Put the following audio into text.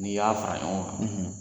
N'i y'a fara ɲɔgɔn kan,